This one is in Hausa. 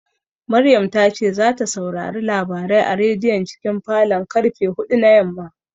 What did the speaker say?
Maryam ta ce zata saurari labarai a rediyon cikin falon karfe huɗu na yamma